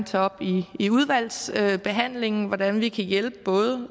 tage op i i udvalgsbehandlingen hvordan vi kan hjælpe både